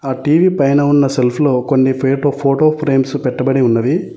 TV పైన ఉన్న shelf లో కొన్ని ఫోటో ఫ్రేమ్స్ పెట్టబడి ఉన్నవి.